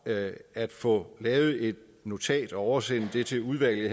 at få lavet et notat og oversende det til udvalget